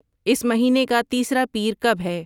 اس مہینے کا تیسرا پیر کب ہے